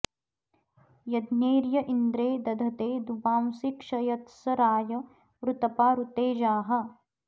य॒ज्ञैर्य इन्द्रे॒ दध॑ते॒ दुवां॑सि॒ क्षय॒त्स रा॒य ऋ॑त॒पा ऋ॑ते॒जाः